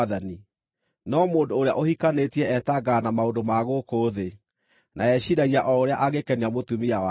No mũndũ ũrĩa ũhikanĩtie etangaga na maũndũ ma gũkũ thĩ, na eciiragia o ũrĩa angĩkenia mũtumia wake,